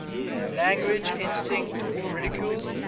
language instinct ridiculed